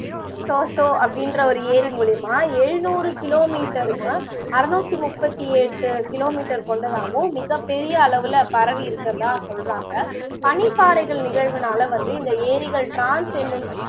த்சோ அப்படிங்குற ஒரு ஏரி மூலியமா எழுநூறு kilometer க்கு அறுநூத்தி முப்பத்தி எட்டு kilometer கொண்டதாகவும் மிகப்பெரிய அளவுல பரவி இருக்குறதா சொல்லுறாங்க பனிப்பாறைகள் நிகழ்வுனால வந்து இந்த ஏரிகள் trans என்னும்